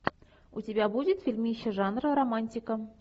у тебя будет фильмище жанра романтика